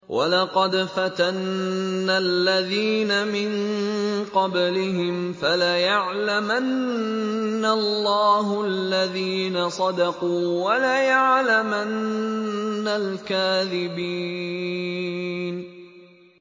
وَلَقَدْ فَتَنَّا الَّذِينَ مِن قَبْلِهِمْ ۖ فَلَيَعْلَمَنَّ اللَّهُ الَّذِينَ صَدَقُوا وَلَيَعْلَمَنَّ الْكَاذِبِينَ